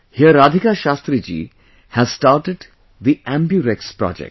Here Radhika Shastriji has started the AmbuRx Amburex Project